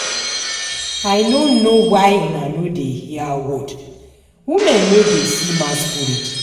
I no know why una no dey hear word. Women no dey see masquerade